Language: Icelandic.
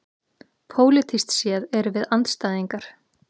Pólitískt séð erum við andstæðingar